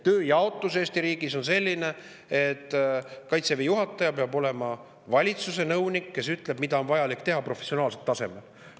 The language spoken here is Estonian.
Tööjaotus Eesti riigis on selline, et Kaitseväe juhataja peab olema valitsuse nõunik, kes ütleb, mida on vaja teha, professionaalsel tasemel.